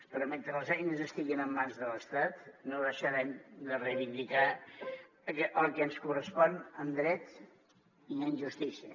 però mentre les eines estiguin en mans de l’estat no deixarem de reivindicar el que ens correspon en dret i en justícia